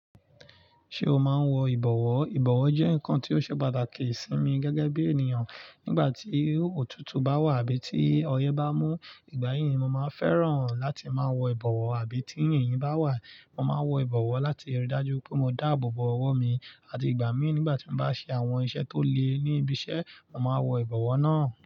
Ṣé o máa ń wọ ìbọ̀wọ́? Ìbọ̀wọ́ jẹ́ nǹkan tí ó ṣe pàtàkì sí mi gẹ́gẹ́ bí ènìyàn. Nígbà tí òtútù bá wà àbí tí ọyẹ́ bá mú, ìgbà yí ni màá fẹ́ràn láti máa wọ ìbọ̀wọ́. Àbí tí yìnyín bá wà, màá wọ ìbọ̀wọ́ láti rí i dájú pé mo dáàbò bo ọwọ́ mi àti ìgbà mí nígbà tí mo bá ṣe àwọn iṣẹ́ tó le ní ibi iṣẹ́, màá wọ ìbọ̀wọ́ náà.